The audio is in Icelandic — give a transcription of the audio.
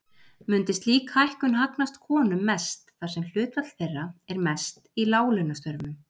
Mundi slík hækkun hagnast konum mest þar sem hlutfall þeirra er mest í láglaunastörfum.